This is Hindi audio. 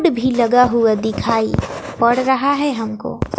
बोर्ड भी लगा हुआ दिखाई पड़ रहा है हमको।